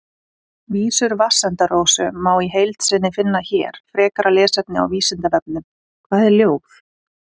Vísur Vatnsenda-Rósu má í heild sinni finna hér Frekara lesefni á Vísindavefnum: Hvað er ljóð?